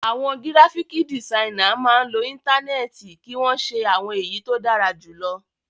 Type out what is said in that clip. Àwọn gíráfíkì dìsainà máa ń lo Íńtánẹ́ẹ̀tì kí wọ́n ṣe àwọn èyí tó dára jù lọ.